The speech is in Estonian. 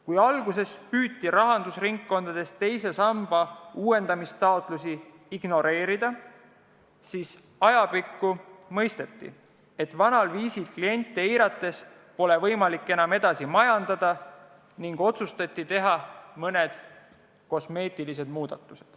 Kui alguses püüti rahandusringkondades teise samba uuendamise taotlusi ignoreerida, siis ajapikku hakati mõistma, et vanal viisil kliente eirates pole võimalik enam edasi majandada, ja otsustati teha mõned kosmeetilised muudatused.